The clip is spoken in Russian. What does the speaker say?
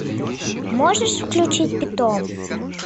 можешь включить питон